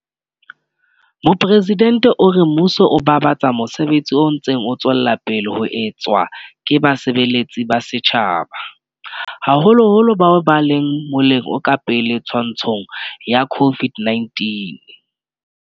Mopresidente o re mmuso o babatsa mosebetsi o ntseng o tswela pele ho etswa ke basebeletsi ba setjhaba, haholoholo bao ba leng moleng o ka pele twantshong ya COVID-19.